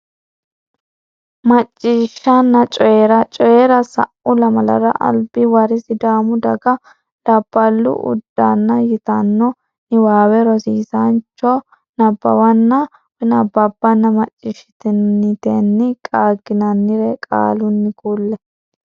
Macciishshanna Coyi ra Coyi ra Sa u lamalara Albi wari Sidaamu Daga Labballu Uddanna yitanno niwaawe rosiisaanchu cho nabbawanna bbanna macciishshitinitenni qaagginannire qaalunni kulle.